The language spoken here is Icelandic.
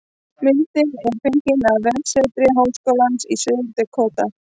Myndin er fengin á vefsetri Háskólans í Suður-Dakóta